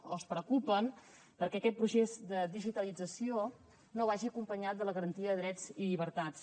o es preocupen perquè aquest procés de digitalització no vagi acompanyat de la garantia de drets i llibertats